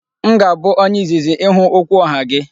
M ga-abụ onye izizi ịhụ okwuoha gị.